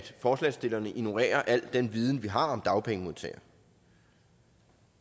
forslagstillerne ignorerer al den viden vi har om dagpengemodtagere